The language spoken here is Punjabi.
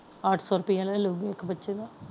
ਅੱਠ ਸੋ ਰੁਪਈਆ ਲੈ ਲੈਂਦੀ ਹੈ ਇੱਕ ਬੱਚੇ ਦਾ।